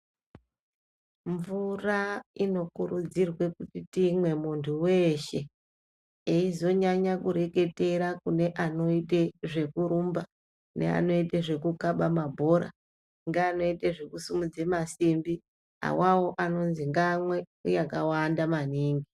Mvura inokurudzirwa kuti tiimwe muntu weshe eizonyanya kureketera kune anoite zvekurumba neanoite zvekukhaba mabhora ngeanoite zvekusimudza masimbi, avawo anonzi ngaamwe yakawanda maningi.